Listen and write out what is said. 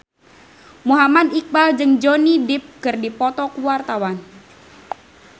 Muhammad Iqbal jeung Johnny Depp keur dipoto ku wartawan